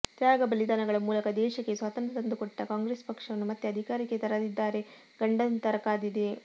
ತ್ಯಾಗ ಬಲಿದಾನಗಳ ಮೂಲಕ ದೇಶಕ್ಕೆ ಸ್ವಾತಂತ್ರ ತಂದು ಕೊಟ್ಟ ಕಾಂಗ್ರೆಸ್ ಪಕ್ಷವನ್ನು ಮತ್ತೆ ಅಧಿಕಾರಕ್ಕೆ ತರದಿದ್ದಾರೆ ಗಂಡಾಂತರ ಕಾದಿದೆ